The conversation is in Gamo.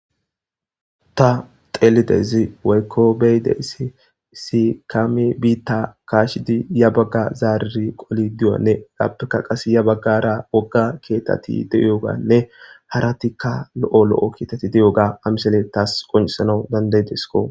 Ta xeelidezi weykko beydeysi si kami biitta kaashidi ya bagga zaariri qoli duwanne labeka qas ya baggara wogga keetati de7oganne haratikka lo7o lo7o kiitati de7oga amisele taas qoncisana danday desko